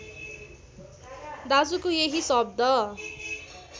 दाजुको यही शब्द